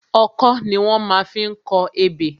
Ọkọ́ ni wón má fi ń kọ ebè